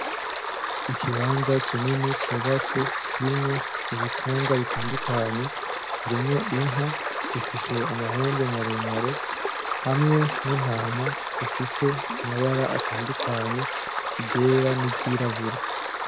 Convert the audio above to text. Ikibanza kinini cubatse kirimwo ibitungwa bitandukanye, harimwo inka zifise amahembe maremare hamwe n'intama zifise amabara atandukanye iryera n'iryirabura.